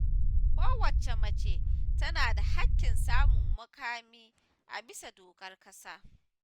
Kowacce mace tana da haƙƙin samun muƙami a bisa dokar ƙasa